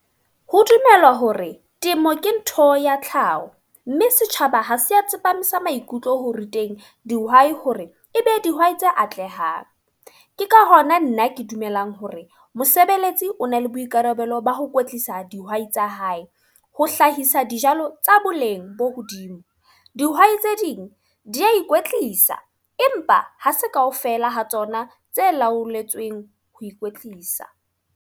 Ho dumelwa hore temo ke ntho ya tlhaho. Mme setjhaba ha se a tsepamisa maikutlo ho ruteng dihwai hore e be dihwai tse atlehang. Ke ka hona nna ke dumelang hore mosebeletsi o na le boikarabelo ba ho kwetlisa dihwai tsa hae. Ho hlahisa dijalo tsa boleng bo hodimo. Dihwai tse ding, di ya ikwetlisa. Empa ha se kaofela ha tsona tse laoletsweng ho ikwetlisa.